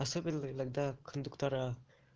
особенно иногда кондуктора